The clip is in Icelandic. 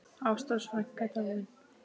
Ástrós frænka er dáin.